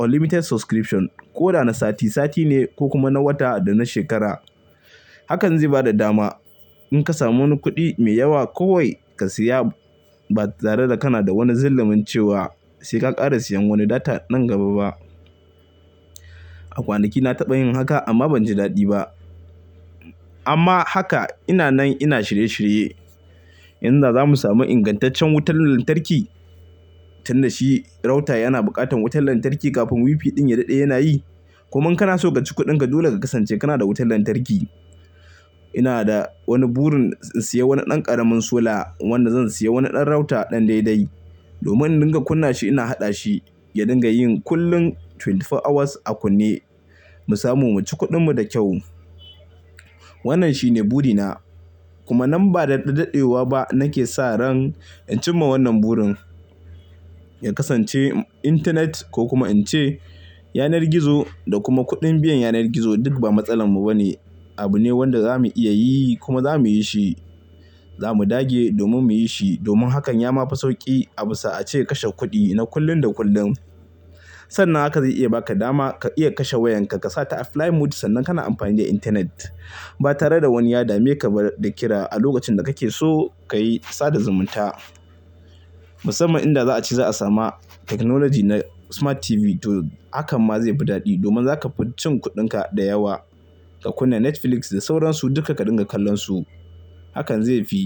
unlimited subscription ko da na sati, sati ne ko kuma na wata da na shekara. Hakan zai ba da dama in ka samu wani kuɗi mai yawa kawai ka siya ba tare da kana da wani zalumin cewa sai ka ƙara siyan wani data nan gaba ba. A kwanaki na taɓa yin haka amma ban ji daɗi ba. Amma haka ina nan ina shirye shirye. Inda za mu samu ingantaccen wutar lantarki. Tunda shi router yana buƙatar wutar lantarki kafin WiFi ɗin ya daɗe yana yi. Kuma in kana so ka ci kuɗinka dole ka kasance kana da wutar lantarki. Ina da wani burin in sayi wani ɗan ƙaramin sola wanda zan sayi wani ɗan router ɗan daidai domin in dinga kunna shi ina haɗa shi ya dinga yi kullum twenty four hours a kunne mu samu mu ci kuɗinmu da kyau. Wannan shi ne burina kuma nan ba da daɗaɗewa ba nake sa ran in cimma wannan burin. Ya kasance internet ko kuma in ce yanar gizo da kuma kuɗin biyan yanar gizo duk ba matsalar mu ba ne. Abu ne wanda za mu iya yi kuma za mu yi shi. Za mu dage domin mu yi shi domin hakan ya mafi sauƙi abisa a ce kashe kuɗi na kullum da kullum. Sannan haka zai iya ba ka dama ka iya kashe wayanka ka sa ta a flight mode sannan kana amfani da internet ba tare da wani ya dame ka ba da kira a lokacin da kake so ka yi sada zumunta. Musamman inda za a ce za a sami technology na smart TV. To hakan ma zai fi daɗi domin za ka cin kuɗinka da yawa ka kunna Netflix da sauran su duka ka dinga kallon su. Hakan zai fi.